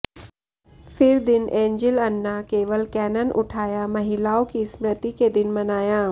फिर दिन एन्जिल अन्ना केवल कैनन उठाया महिलाओं की स्मृति के दिन मनाया